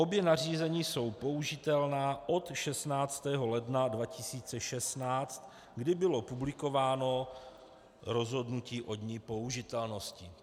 Obě nařízení jsou použitelná od 16. ledna 2016, kdy bylo publikováno rozhodnutí o dni použitelnosti.